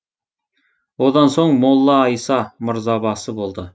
одан соң молла айса мырзабасы болды